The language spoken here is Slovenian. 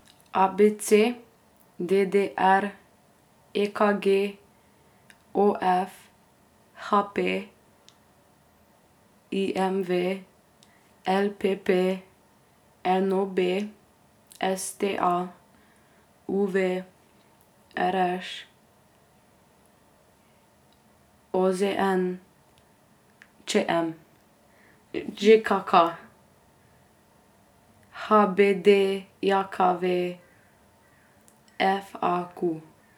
A B C; D D R; E K G; O F; H P; I M V; L P P; N O B; S T A; U V; R Š; O Z N; Č M; Ž K K; H B D J K V; F A Q.